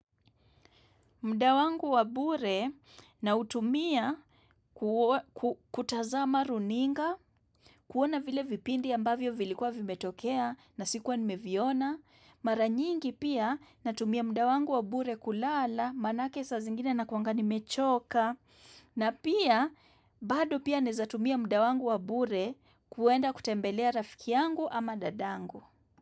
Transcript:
Mdawangu wabure na utumia kutazama runinga, kuona vile vipindi ambavyo vilikuwa vimetokea na sikuwa nimeviona, mara nyingi pia natumia muda wangu wabure kulala, manake sa zingine na kwangani mechoka, na pia bado pia nezatumia muda wangu wabure kuenda kutembelea rafiki yangu ama dadangu.